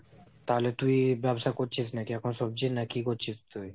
তাহলে তুই ব্যবসা করছিস নাকি এখন সবজির নাকি কি করছিস তুই?